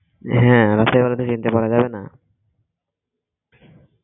হ্যাঁ রাতের বেলায় তো চিনতে পারা যাবে না